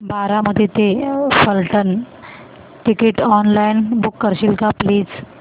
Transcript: बारामती ते Phaltan ticket online book करशील का प्लीज